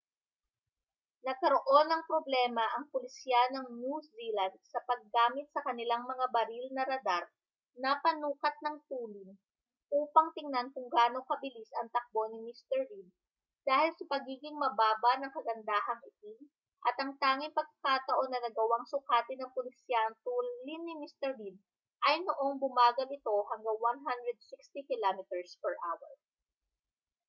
nagkaroon ng problema ang pulisya ng new zealand sa paggamit sa kanilang mga baril na radar na panukat ng tulin upang tingnan kung gaano kabilis ang takbo ni mr reid dahil sa pagiging mababa ng kagandahang itim at ang tanging pagkakataon na nagawang sukatin ng pulisya ang tulin ni mr reid ay noong bumagal ito hanggang 160 km/h